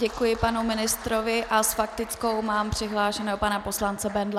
Děkuji panu ministrovi a s faktickou mám přihlášeného pana poslance Bendla.